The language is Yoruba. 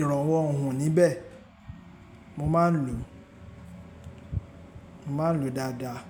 ìrànwọ́ ohùn níbẹ̀. Mo máa ń lò, mo máa ń lò dáadáa.